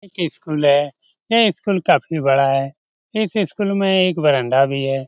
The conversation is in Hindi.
एक स्कूल है यह स्कूल काफ़ी बड़ा है इस स्कूल में एक बरांडा भी है।